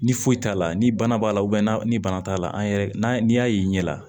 Ni foyi t'a la ni bana b'a la n'a ni bana t'a la an yɛrɛ n'i y'a ye i ɲɛ la